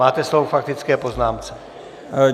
Máte slovo k faktické poznámce.